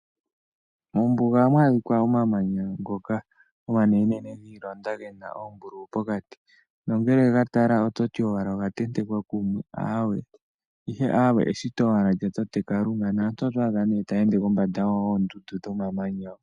Mombuga ohamu adhika omamanya ngoka omanene gi ilonda gena ombululu pokati. Nongele wega tala ototi owala oga tentekwa kumwe. Ihe awee eshito owala lyatate Kalunga. Naantu otwa adha nee ta ende kombanda yoondundu dhomamanya ho.